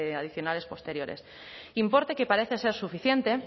adicionales posteriores importe que parece ser suficiente